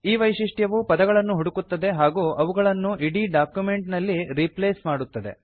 ಈ ವೈಶಿಷ್ಟ್ಯವು ಪದಗಳನ್ನು ಹುಡುಕುತ್ತದೆ ಹಾಗೂ ಅವುಗಳನ್ನು ಇಡೀ ಡಾಕ್ಯುಮೆಂಟ್ ನಲ್ಲಿ ರೀಪ್ಲೇಸ್ ಮಾಡುತ್ತದೆ